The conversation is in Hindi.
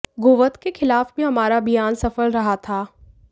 गोवध के खिलाफ भी हमारा अभियान सफल रहा था